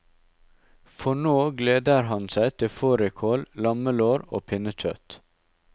For nå gleder han seg til fårikål, lammelår og pinnekjøtt.